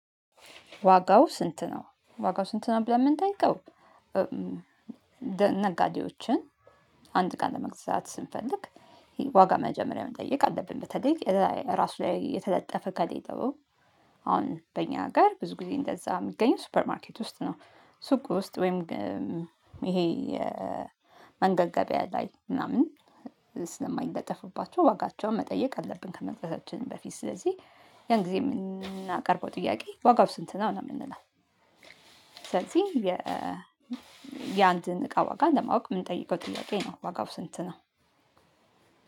ዋጋው ስንት ነው? ዋጋው ስንት ነው ብለን የምንጠይቀው። ነጋዴዎችን አንድ ቀን ለመግዛት ስንፈልግ። ዋጋ መጀመሪያ መጠየቅ አለብን። በተለይ ራሱ ላይ የተለጠፈ ከጠየቀው። አሁን በእኛ ጋር ብዙ ጊዜ እንደዛ የሚገኘው ሱፐር ማርኬት ውስጥ ነው። ሱቅ ውስጥ ወይም። ይሄ መንገድ ገበያ ላይ ምናምን። ስለማይለጠፉባቸው ዋጋቸውን መጠየቅ አለብን ከመክፈታችን በፊት። ስለዚህ ያን ጊዜ የምናቀርበው ጥያቄ ዋጋው ስንት ነው ምናምን የምንለው። ስለዚህ የ የአንድን እቃ ዋጋ ለማወቅ የምንጠይቀው ጥያቄ ነው። ዋጋው ስንት ነው?